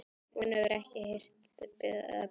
Hún hefur ekki heyrt það betra.